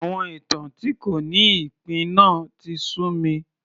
Àwọn ìtàn tí kò ní ìpín náà tí sú mi